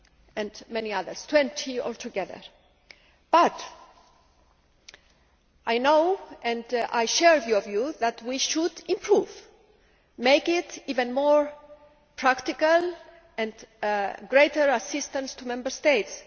and many others 20 altogether but I know, and I share your view, that we should improve. We should make it even more practical and give greater assistance to Member States.